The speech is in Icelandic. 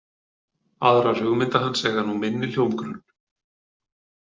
Aðrar hugmynda hans eiga nú minni hljómgrunn.